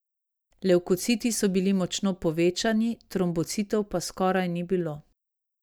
Levkociti so bili močno povečani, trombocitov pa skoraj ni bilo.